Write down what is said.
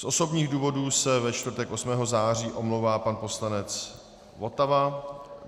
Z osobních důvodů se ve čtvrtek 8. září omlouvá pan poslanec Votava.